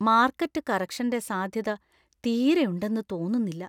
Market കറക്ഷന്‍റെ സാധ്യത തീരെയുണ്ടെന്നു തോന്നുന്നില്ല.